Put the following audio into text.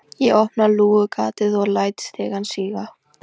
Ég opna lúgugatið og læt stigann síga.